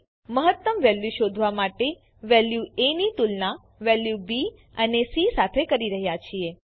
અહીં આપણે મહત્તમ વેલ્યુ શોધવા માટે વેલ્યુ એ ની તુલના વેલ્યુ બી અને સી સાથે કરી રહ્યા છીએ